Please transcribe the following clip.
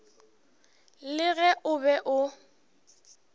le ge o be o